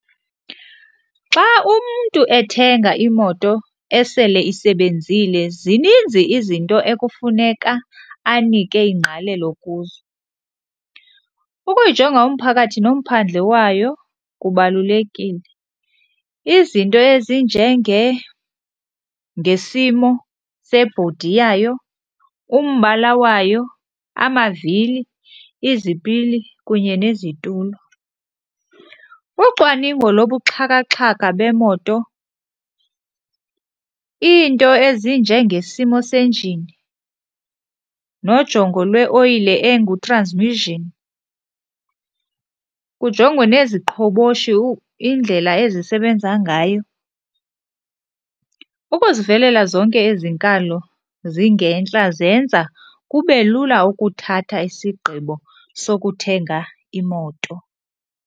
Xa umntu ethenga imoto esele isebenzile zininzi izinto ekufuneka anike ingqalelo kuzo. Ukuyijonga umphakathi nomphandle wayo kubalulekile, izinto ezinjengengesimo sebhodi yayo, umbala wayo, amavili, izipili kunye nezitulo. Ucwaningo lobuxhakaxhaka bemoto, iinto ezinjengesimo senjini nojongo lweoyile engutranzimishini, kujongwe neziqhoboshi indlela ezisebenza ngayo. Ukuzivelela zonke ezi nkalo zingentla zenza kube lula ukuthatha isigqibo sokuthenga imoto.